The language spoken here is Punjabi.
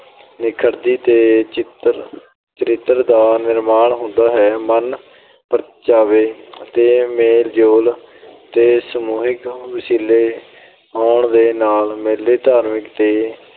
ਨਿਖਰਦੀ ਤੇ ਚਿੱਤਰ ਅਹ ਚਰਿੱਤਰ ਦਾ ਨਿਰਮਾਣ ਹੁੰਦਾ ਹੈ। ਮਨ-ਪਰਚਾਵੇ ਤੇ ਮੇਲ-ਜੋਲ ਦੇ ਸਮੂਹਿਕ ਵਸੀਲੇ ਹੋਣ ਦੇ ਨਾਲ ਮੇਲੇ ਧਾਰਮਿਕ ਤੇ